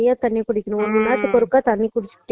சம்பளம் வாங்கி treatment பாத்துட்டு இருந்தான்